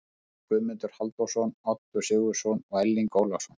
Heimild: Guðmundur Halldórsson, Oddur Sigurðsson og Erling Ólafsson.